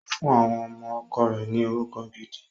Ó fún àwọn ọmọ ọkọ rẹ̀ ni orúkọ gidi.